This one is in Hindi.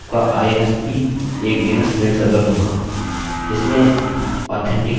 आपका insp एक dns मेल सर्वर होगा